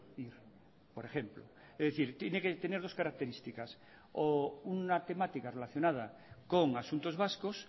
ir por ejemplo es decir tiene que tener dos características o una temática relacionada con asuntos vascos